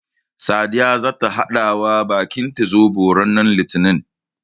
Sadiya zata haɗawa baƙinta Zoɓo ranar litinin.